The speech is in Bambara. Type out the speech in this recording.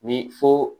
Ni fo